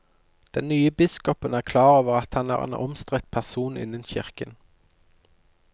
Den nye biskopen er klar over at han er en omstridt person innen kirken.